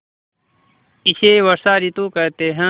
इसे वर्षा ॠतु कहते हैं